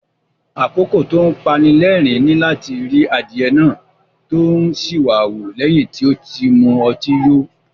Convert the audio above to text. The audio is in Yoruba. Àkókò tó ń pani lẹ́rìn-ín ni láti ri adìyẹ náà tó ń ṣìwàwù lẹ́yìn tí ó ti mutí yó.